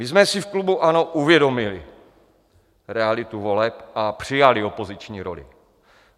My jsme si v klubu ANO uvědomili realitu voleb a přijali opoziční roli.